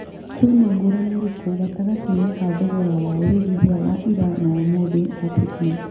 kwĩ na ngũrani ĩrĩkũ gatagatĩ-inĩ ka thogora wa wĩigĩthĩa wa ĩra na wa ũmũthi wa quickmart